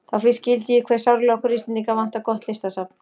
Þá fyrst skildi ég hve sárlega okkur Íslendinga vantar gott listasafn.